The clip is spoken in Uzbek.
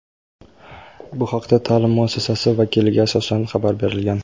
Bu haqda ta’lim muassasasi vakiliga asoslanib xabar berilgan.